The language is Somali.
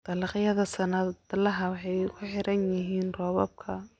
Dalagyada sannadlaha ahi waxay ku xiran yihiin roobabka.